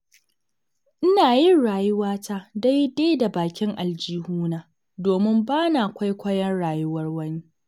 Ina yin rayuwata daidai da bakin aljihuna, domin ba na kwaikwayon rayuwar wani.